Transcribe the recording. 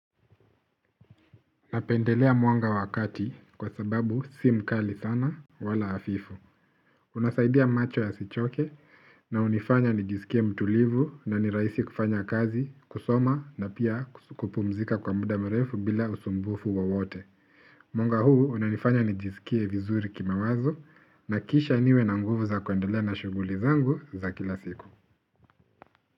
Napendelea mwanga wa kati, kwa sababu si mkali sana, wala hafifu. Unasaidia macho yasichoke na hunifanya nijisikie mtulivu na niraisi kufanya kazi, kusoma na pia kus kupumzika kwa mda mrefu bila usumbufu wowote. Mwanga huu, unanifanya nijisikie vizuri kimawazo, na kisha niwe na nguvu za kuendelea na shughuli zangu za kila siku.